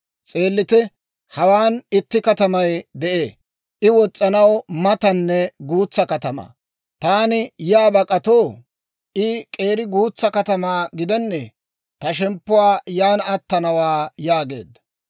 S'eellite; hawaan itti katamay de'ee; I wos's'anaw matanne guutsa katamaa. Taani yaa bak'atoo? I k'eeri guutsa katamaa gidennee? Ta shemppuu yan attanawaa» yaageedda.